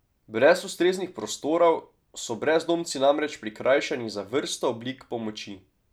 Brez ustreznih prostorov so brezdomci namreč prikrajšani za vrsto oblik pomoči.